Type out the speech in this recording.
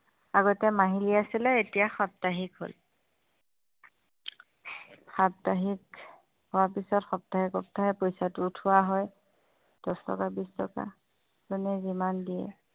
আগতে মাাহিলী আছিলে এতিয়া সাপ্তাহিক হ'ল, সাপ্তাহিক হোৱাৰ পিছত সপ্তাহে সপ্তাহে পইচাটো উঠোৱা হয় দচ টকা বিছ টকা যোনে যিমান দিয়ে